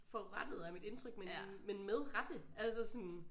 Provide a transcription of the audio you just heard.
Forurettet er mit indtryk men men med rette altså sådan